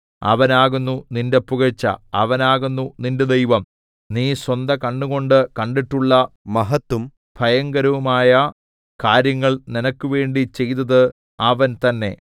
അവനാകുന്നു നിന്റെ പുകഴ്ച അവനാകുന്നു നിന്റെ ദൈവം നീ സ്വന്ത കണ്ണുകൊണ്ട് കണ്ടിട്ടുള്ള മഹത്തും ഭയങ്കരവുമായ കാര്യങ്ങൾ നിനക്കുവേണ്ടി ചെയ്തത് അവൻ തന്നെ